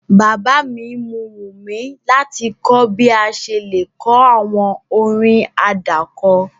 Bàbá mi mu wùmí láti kọ bi a ṣe le ko àwọn orin àdáko